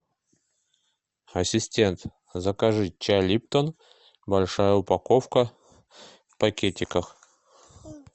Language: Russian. ассистент закажи чай липтон большая упаковка в пакетиках